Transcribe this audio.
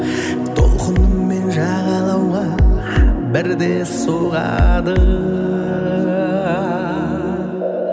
толқынымен жағалауға бірде соғады